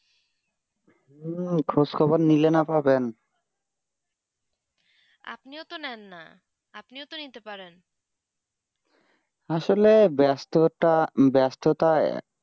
হম খোঁজ খবর নিলে না পাবেন আপনিয়ন তো নাইন না আপনিও তো নিতে পারেন আসলে ব্যস্ত তা ব্যস্ত তা